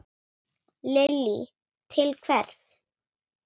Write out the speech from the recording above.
Lillý: Til hvers?